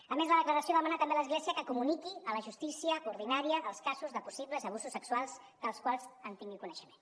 a més la declaració demana també a l’església que comuniqui a la justícia ordinària els casos de possibles abusos sexuals dels quals tingui coneixement